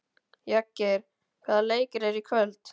Jagger, hvaða leikir eru í kvöld?